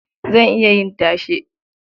Zan iya yin tashe.